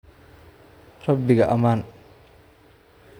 Rabbiga ammaan